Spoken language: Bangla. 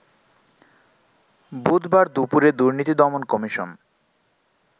বুধবার দুপুরে দুর্নীতি দমন কমিশন